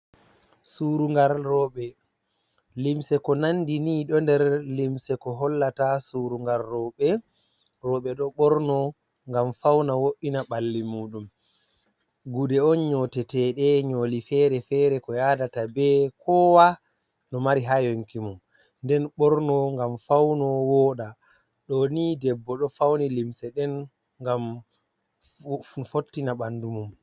Surungar rowɓe. Limse ko nandi ni ɗo nder limse ko hollata surungar rowɓe. Rowɓe ɗo ɓorno ngam fauna, wo'ina ɓalli muɗum. Gude on nyoteteɗe nyoli fere-fere, ko yadata be kowa no mari ha yonki mum, nden ɓorno ngam fauno wooɗa. Ɗo ni debbo, ɗo fauni limse nɗen gam fottina ɓandu mum.